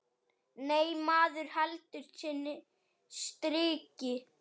Nei, maður heldur sínu striki.